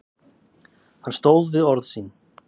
Hann stóð við orð sín.